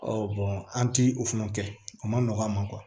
an ti o fana kɛ a ma nɔgɔn an ma